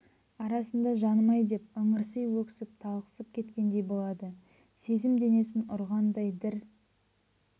арасында жаным-ай деп ыңырси өксіп талықсып кеткендей болады сезім денесін ұрғандай дір